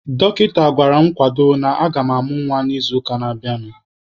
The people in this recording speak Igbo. Dọkịta gwara m kwadobe na agam amụ nwa n'izuụka na-abịanụ.